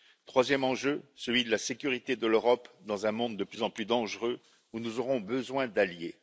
Troisième enjeu, celui de la sécurité de l'Europe dans un monde de plus en plus dangereux, où nous aurons besoin d'alliés.